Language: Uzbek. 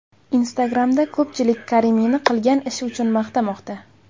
Instagram’da ko‘pchilik Karimiyni qilgan ishi uchun maqtamoqda.